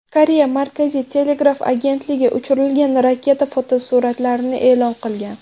Koreya markaziy telegraf agentligi uchirilgan raketa fotosuratlarini e’lon qilgan.